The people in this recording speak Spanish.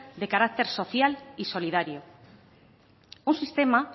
de carácter social y solidario un sistema